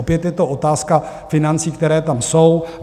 Opět je to otázka financí, které tam jsou.